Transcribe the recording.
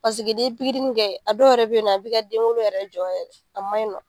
Paseke n'i ye kɛ a dɔw yɛrɛ bɛ yen nɔ a bi ka den wolo yɛrɛ jɔ a ma ɲinɔ.